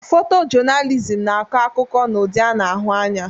Fotojọnalizimu na-akọ akụkọ n'ụdị a na-ahụ anya.